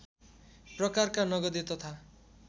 प्रकारका नगदे तथा